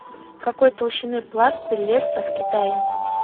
какой толщины пласты лесса в китае